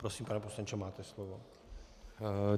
Prosím, pane poslanče, máte slovo.